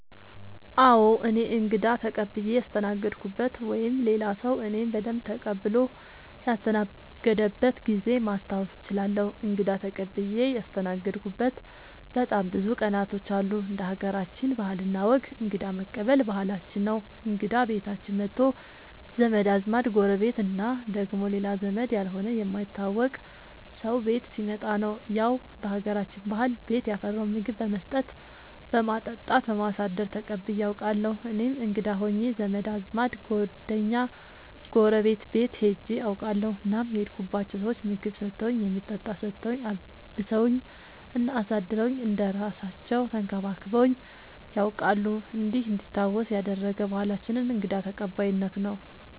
አዎ እኔ እንግዳ ተቀብየ ያስተናገድኩበት ወይም ሌላ ሰዉ እኔን በደንብ ተቀብሎ ያስተናገደበት ጊዜ ማስታወስ እችላለሁ። እንግዳ ተቀብዬ ያስተናገድሁበት በጣም ብዙ ቀናቶች አሉ እንደ ሀገራችን ባህል እና ወግ እንግዳ መቀበል ባህላችን ነው እንግዳ ቤታችን መቶ ዘመድ አዝማድ ጎረቤት እና ደግሞ ሌላ ዘመድ ያልሆነ የማይታወቅ ሰው ቤት ሲመጣ ያው በሀገራችን ባህል ቤት ያፈራውን ምግብ በመስጠት በማጠጣት በማሳደር ተቀብዬ አውቃለሁ። እኔም እንግዳ ሆኜ ዘመድ አዝማድ ጓደኛ ጎረቤት ቤት ሄጄ አውቃለሁ እናም የሄድኩባቸው ሰዎች ምግብ ሰተውኝ የሚጠጣ ሰተውኝ አልብሰውኝ እና አሳድረውኝ እንደ እራሳለው ተንከባክበውኝ ነያውቃሉ እንዲህ እንዲታወስ ያደረገ ባህላችንን እንግዳ ተቀባይነት ነው።